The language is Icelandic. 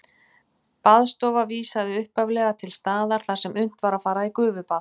Baðstofa vísaði upphaflega til staðar þar sem unnt var að fara í gufubað.